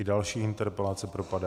I další interpelace propadá.